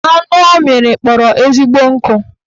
Anụ ọ mịrị kpọrọ ezigbo nkụ